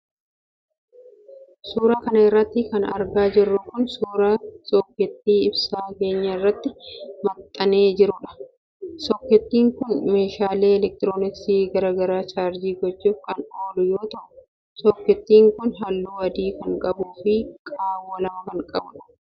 Suura kana irratti kan argaa jirru kun ,suura sokkeettii ibsaa keenyaa irratti maxxanee jiruudha. Sokkettin kun meeshaalee elektrooniksii garaa garaa chaarjii gochuuf kan oolu yoo ta'u, sokkeettiin kun haalluu adii kan qabuu fi qaawwa lama kan qabuudha.